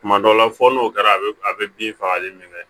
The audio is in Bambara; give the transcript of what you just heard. Tuma dɔw la fɔ n'o kɛra a bɛ a bɛ bin fagali min kɛ